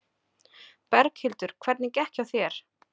Berghildur: Hvernig gekk hjá þér?